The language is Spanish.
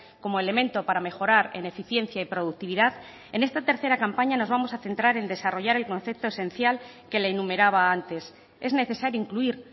como elemento para mejorar en eficiencia y productividad en esta tercera campaña nos vamos a centrar en desarrollar el concepto esencial que la enumeraba antes es necesario incluir